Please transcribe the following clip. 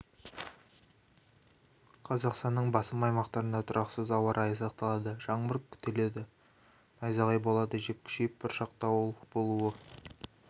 қазақстанның басым аймақтарында тұрақсыз ауа райы сақталады жаңбыр күтіледі найзағай болады жел күшейіп бұршақ дауыл болуы